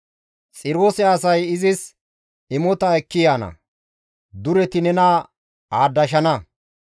Xiroose asay izis imota ekki yaana; dureti nena aadashana.